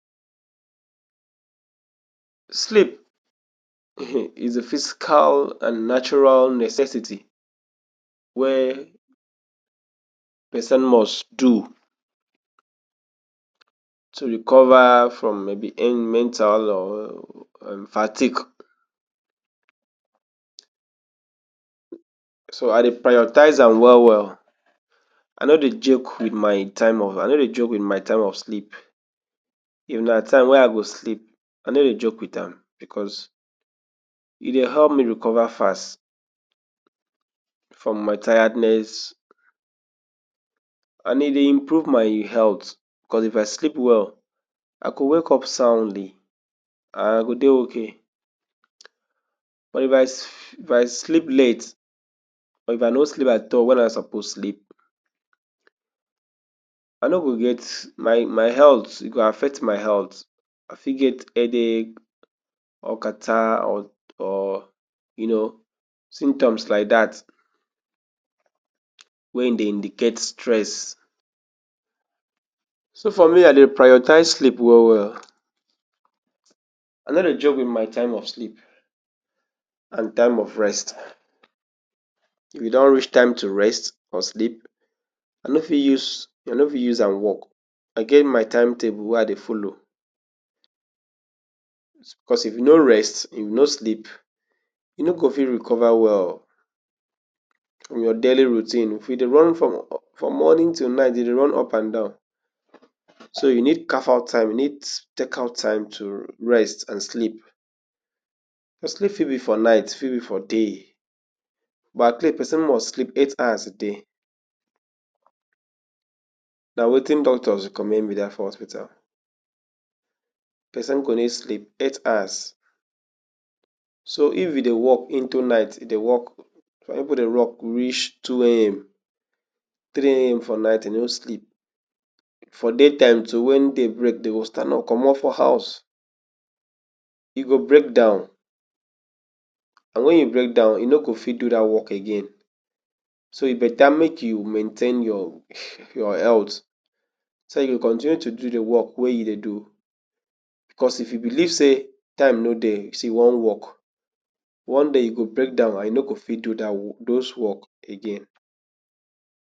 Sleep is a physical and natural necessity wey pesin must do tu recover from maybe il mental or fatik. So I dey prioritise am well well. I no dey joke wit my time off i no dey joke wit my time of sleep. If na time wey I go sleep, I ne dey joke wit am bicos e dey help me recover fast from my tiredness and e dey improve my health. Bicos if I sleep well, I go wake up soundly, I go dey okay. But if i if I sleep late or if I no sleep at all wen I suppose sleep, i no go get my my health e go affect my helth I fit get headache or catarrh or or you know, symptoms like dat wey dey indicate stress. So for me, I dey prioritise sleep well well. I no dey joke wit my time of sleep and time of rest. If e don reach time to rest or sleep, I no fit use i no fit am wok. I get my timetable wey I dey follow. Bicos if you no rest, if you no sleep, e no go fit recover well fromyour daily routine. If you dey run from for morning til night, you dey run up and down, so you need carve out time, you need take out to rest and sleep. Di sleep fit be for night, fit be for day, but at least pesin must sleep eight hours a day. Na wetin doctors recommend be dat for hospital, pesin go need sleep eight hours. So if you dey wok into night e dey wok, some pipu dey rock reach two A M three AM for night, e no sleep daytime too wen day break, de go stand up comot for house. E go break down, and wen you break down, you no go fit do dat wok again. So e beta make you maintain your your health so you go continue to do di wok wey you dey do. Bicos if you beliv say time no dey, si you wan wok, one day you go break down and you no go fit do dat wo, dose wok again.